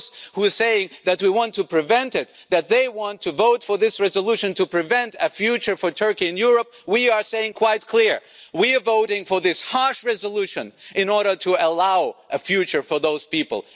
For those who are saying that we want to prevent it, that they want to vote for this resolution to prevent a future for Turkey in Europe, we are saying quite clearly we are voting for this harsh resolution in order to allow a future for those people.